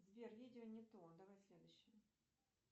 сбер видео не то давай следующее